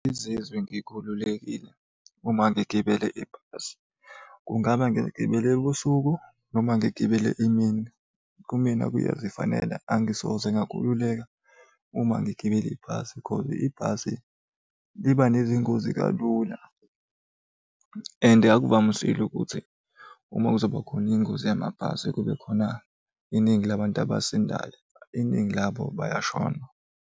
Ngizizwe ngikhululekile, uma ngigibele ibhasi. Kungaba ngiligibele ebusuku noma ngiligibele emini. Kumina kuyazifanela angisoze ngakhululeka uma ngigibele ibhasi cause ibhasi liba nezingozi kalula and akuvamisile ukuthi uma kuzoba khona ingozi yamabhasi kube khona iningi labantu abasindayo, iningi labantu bayashona.